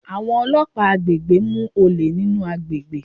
Àwọn ọlọ́pàá àgbègbè mú olè nínú àgbègbè.